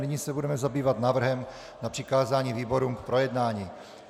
Nyní se budeme zabývat návrhem na přikázání výborům k projednání.